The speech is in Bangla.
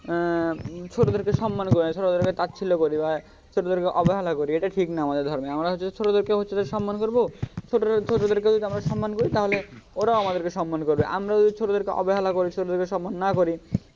আহ ছোটোদেরকে সম্মান করি না ছোটোদেরকে তাছিল্য করি বা ছোটোদেরকে অবহেলা করি এটা ঠিক না আমাদের ধর্মে আমরা হছে যে ছোটোদেরকেও হচ্ছে যে সম্মান করবো ছোটরা ছোটদেরকেও যদি আমরা সম্মান করি ওরাও আমাদেরকে সম্মান করবে আমরা যদি ছোটোদেরকে অবহেলা করি ছোটোদেরকে সম্মান না করি,